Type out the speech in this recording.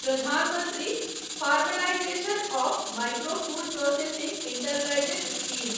Pradhan Mantri formalisation of micro food processing enterprises scheme